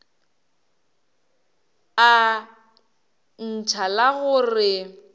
a ntšha la go re